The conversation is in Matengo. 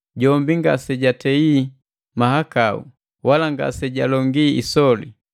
Jombi ngasejatei mahakau, wala ngasejalongi isoli.